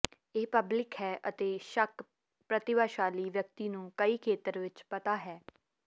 ਇਹ ਪਬਲਿਕ ਹੈ ਅਤੇ ਸ਼ੱਕ ਪ੍ਰਤਿਭਾਸ਼ਾਲੀ ਵਿਅਕਤੀ ਨੂੰ ਕਈ ਖੇਤਰ ਵਿੱਚ ਪਤਾ ਹੈ